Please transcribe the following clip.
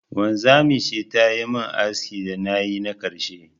Wanzamiya ce ta yi min askin da na yi na karshe.